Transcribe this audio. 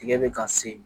Tigɛ bɛ ka se